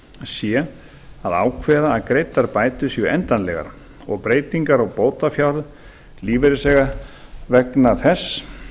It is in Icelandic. sé að ákveða að greiddar bætur séu endanlegar og breytingar á bótafjárhæð lífeyrisþega vegna þess